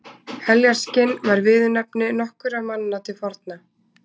Heljarskinn var viðurnefni nokkurra manna til forna.